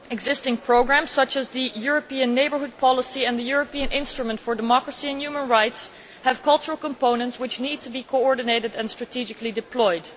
Existing programmes, such as the European Neighbourhood Policy and the European Instrument for Democracy and Human Rights, have cultural components which need to be coordinated and strategically deployed.